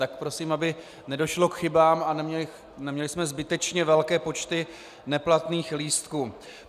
Tak prosím, aby nedošlo k chybám a neměli jsme zbytečně velké počty neplatných lístků.